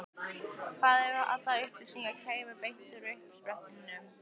Hvað ef allar upplýsingar kæmu beint frá uppsprettunni?